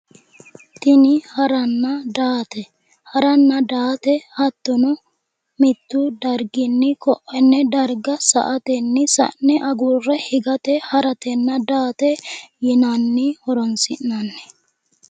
Tini haranna daate haranna daate hattono mittu dariginni ko"onne dariga sa''ateni sa'ne agurre higate haratenna daate yinanni horonsi'ni